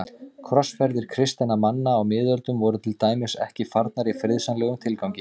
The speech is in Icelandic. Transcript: Krossferðir kristinna manna á miðöldum voru til dæmis ekki farnar í friðsamlegum tilgangi.